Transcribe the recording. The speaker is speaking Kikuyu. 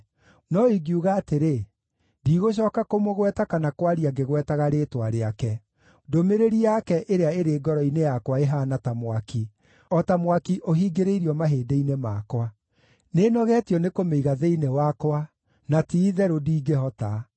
No ingiuga atĩrĩ, “Ndigũcooka kũmũgweta kana kwaria ngĩgwetaga rĩĩtwa rĩake,” ndũmĩrĩri yake ĩrĩa ĩrĩ ngoro-inĩ yakwa ĩhaana ta mwaki, o ta mwaki ũhingĩrĩirio mahĩndĩ-inĩ makwa. Nĩnogetio nĩkũmĩiga thĩinĩ wakwa, na ti-itherũ ndingĩhota.